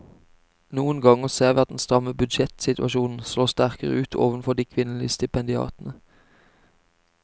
Noen ganger ser vi at den stramme budsjettsituasjonen slår sterkere ut overfor de kvinnelige stipendiatene.